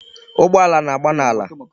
Ụgbọala na-agba n'ala.